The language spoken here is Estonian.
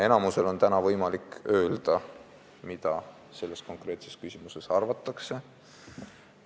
Enamusel on täna võimalik öelda, mida selles konkreetses küsimuses arvatakse.